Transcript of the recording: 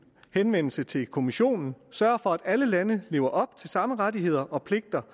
henvendelse til kommissionen sørger for at alle landene lever op til samme rettigheder og pligter